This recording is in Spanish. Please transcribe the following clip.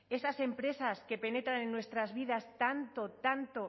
esas empresas que penetran en nuestras vidas tanto tanto